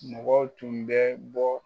Mɔgɔw tun bɛ bɔ